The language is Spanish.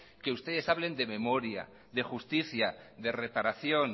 que ustedes hablen de memoria de justicia de reparación